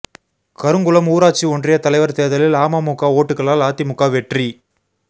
கருங்குளம் ஊராட்சி ஒன்றிய தலைவா் தோ்தலில் அமமுக ஓட்டுகளால் அதிமுக வெற்றி